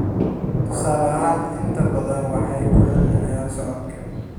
tusaale ahaan, inta badan waxay ku celceliyaan socodka.